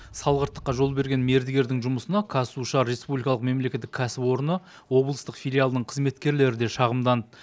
салғырттыққа жол берген мердігердің жұмысына қазсушар республикалық мемлекеттік кәсіпорны облыстық филиалының қызметкерлері де шағымданды